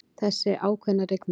Þessi ákveðna rigning.